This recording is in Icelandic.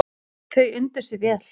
Þau undu sér vel.